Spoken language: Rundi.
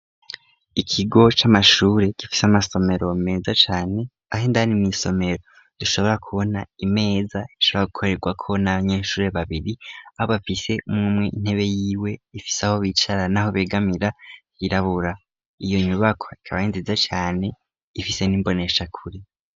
Ikigo c'amashure gifise amasomero meza cane, aho indani mw'isomero dushobora kubona imeza ishobora gukorerwako n'abanyeshure babiri, aho bafise umwe umwe intebe yiwe ifise aho bicara n'aho begamira yirabura. Iyo nyubakwa ikaba ari nziza cane, ifise n'imboneshakure.